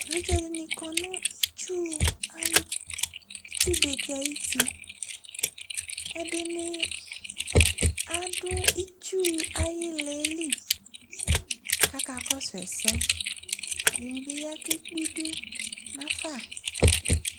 Evidzeɖini kɔnʋ itsuitsubeɖi ayitiƐɖini aaɖʋ itsu ayilaɛli k'aka kɔsu ɛsɛƐɖinibi yaa k'ekpe iɖʋ nafa